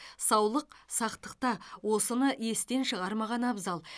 саулық сақтықта осыны естен шығармаған абзал